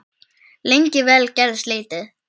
Lengi vel gerðist lítið.